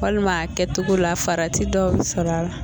Walima a kɛcogo la farati dɔ bɛ sɔrɔla a la